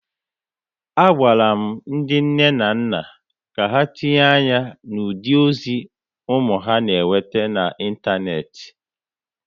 A gwala ndị nne na nna ka ha tinye anya na ụdị ozi ụmụ ha na-enweta na ịntanetị